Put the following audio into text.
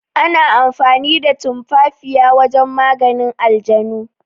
Ana amfani da tumafafiya wajen maganin aljanu.